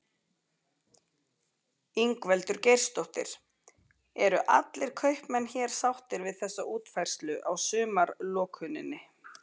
Ingveldur Geirsdóttir: Eru allir kaupmenn hér sáttir við þessa útfærslu á sumarlokuninni?